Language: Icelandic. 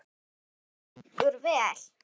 Hann liggur vel.